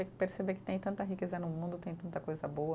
E perceber que tem tanta riqueza no mundo, tem tanta coisa boa.